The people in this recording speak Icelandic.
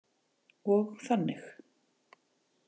Og þannig.